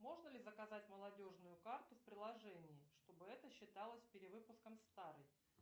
можно ли заказать молодежную карту в приложении чтобы это считалось перевыпуском старой